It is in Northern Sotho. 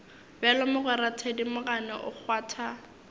bjalo mogwera thedimogane o kgwatha